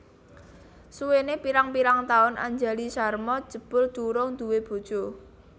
Suwene pirang pirang taun Anjali Sharma jebul durung duwé bojo